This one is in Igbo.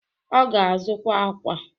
Ọ ga-azụta akwa.